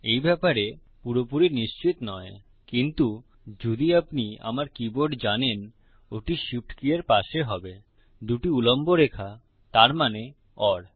এই ব্যাপারে পুরোপুরি নিশ্চিত নয় কিন্তু যদি আপনি আমার কীবোর্ড জানেন ওটি শিফট কী এর পাশে হবে দুটি উল্লম্ব রেখা তার মানে ওর